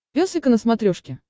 пес и ко на смотрешке